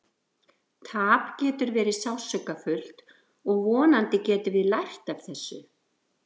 Tap getur verið sársaukafullt og vonandi getum við lært af þessu.